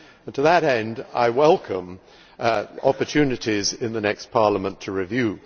To that end, I welcome opportunities in the next Parliament to review.